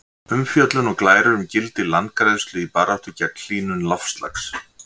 Umfjöllun og glærur um gildi landgræðslu í baráttunni gegn hlýnun loftslags.